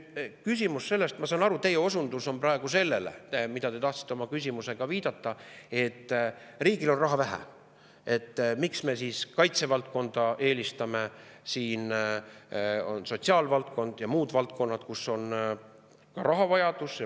Ma saan aru, teie osundus või see, millele te tahtsite oma küsimusega viidata, on selline, et riigil on raha vähe ja miks me siis eelistame kaitsevaldkonda, kui sotsiaalvaldkonnas ja muudes valdkondades on ka rahavajadus.